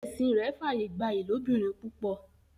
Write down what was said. ẹsìn rẹ f'aye gbà ilobirin púpọ.